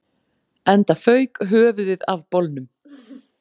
Enda fauk höfuðið af bolnum